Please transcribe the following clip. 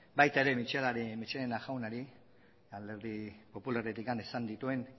baita ere michelena jaunari alderdi popularretik esan dituen